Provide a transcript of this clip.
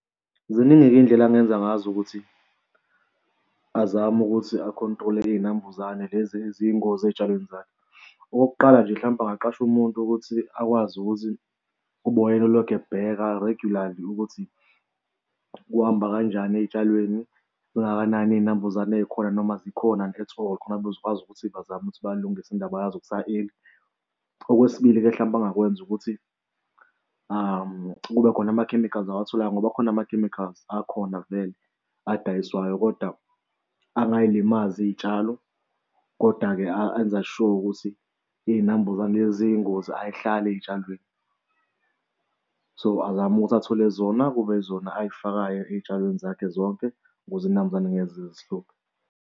Ziningi-ke iy'ndlela angenza ngazo ukuthi azame ukuthi a-control-e iy'nambuzane lezi eziyingozi ezitshalweni zakhe. Okokuqala nje mhlampe angaqasha umuntu ukuthi akwazi ukuthi ubone elokhu ebheka regularly ukuthi kuhamba kanjani ey'tshalweni zingakanani iy'nambuzane ey'khona noma zikhona yini at all khona bezokwazi ukuthi bazame ukuthi balungise indaba yazo kusa-early. Okwesibili-ke mhlampe abangakwenza ukuthi kube khona ama-chemicals awatholanga ngoba kukhona ama-chemicals akhona vele adayiswayo kodwa angay'limazi iy'tshalo koda-ke enza sure ukuthi iy'nambuzane lezi eziyingozi ay'hlali ey'tshalweni. So azame ukuthi athole zona, kube izona ay'fakayo ey'tshalweni zakhe zonke, ukuze iy'nambuzane y'ngeke zize zihluphe.